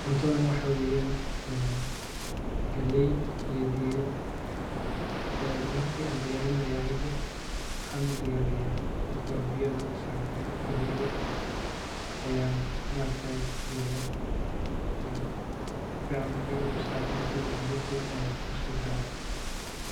Cuntadha waxaa weyan en galey iyo digir marki aan diyaarinayo anigu waxaan udiyaariya marka hore biyo ayaan dabsaraa kadib galeydha ayaan kuridha en sifican markey ubislaato neh digirti ayaan kusidaraa.